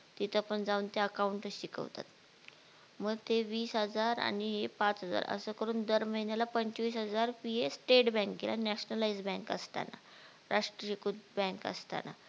तिथं पण जाऊन त्या account च शिकवतात मग ते वीस हजार आणि हे पाच हजार अस करून दर महिन्याला पंचवीस हजार फी आहे state bank ला nationalised bank असताना, राष्ट्रीयकृत बँक असताना